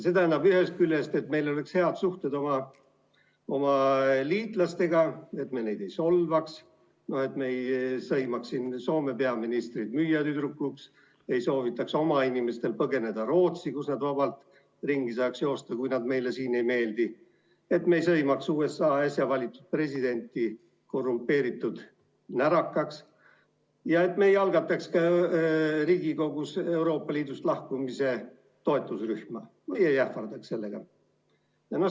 See tähendab ühest küljest, et meil oleksid head suhted oma liitlastega, et me neid ei solvaks, et me ei sõimaks Soome peaministrit müüjatüdrukuks, ei soovitaks oma inimestel põgeneda Rootsi, kus nad vabalt ringi saaks joosta, kui nad meile siin ei meeldi, et me ei sõimaks USA äsja valitud presidenti korrumpeeritud närakaks ega algataks Riigikogus Euroopa Liidust lahkumise toetusrühma või ei ähvardaks sellega.